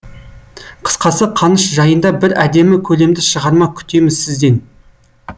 қысқасы қаныш жайында бір әдемі көлемді шығарма күтеміз сізден